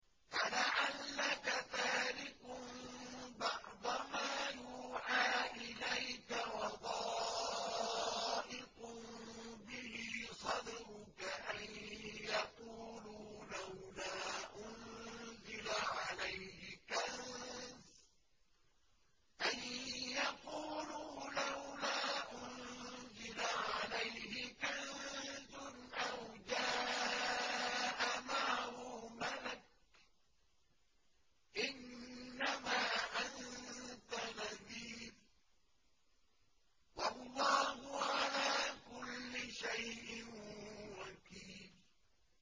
فَلَعَلَّكَ تَارِكٌ بَعْضَ مَا يُوحَىٰ إِلَيْكَ وَضَائِقٌ بِهِ صَدْرُكَ أَن يَقُولُوا لَوْلَا أُنزِلَ عَلَيْهِ كَنزٌ أَوْ جَاءَ مَعَهُ مَلَكٌ ۚ إِنَّمَا أَنتَ نَذِيرٌ ۚ وَاللَّهُ عَلَىٰ كُلِّ شَيْءٍ وَكِيلٌ